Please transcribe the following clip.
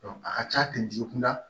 a ka ca jigi kunda